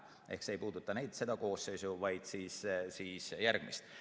Ehk see ei puuduta seda koosseisu, vaid järgmist.